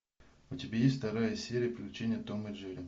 у тебя есть вторая серия приключения том и джерри